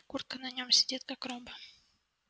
куртка на нём сидит как роба